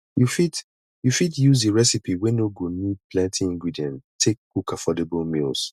you fit you fit use di recipe wey no go need plenty ingredient take cook affordable meals